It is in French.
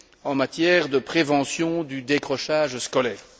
en matière de prévention du décrochage scolaire.